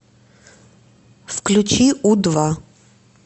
включи у два